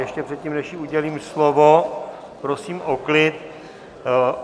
Ještě předtím, než jí udělím slovo, prosím o klid.